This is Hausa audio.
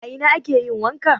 A ina ake yin wanka?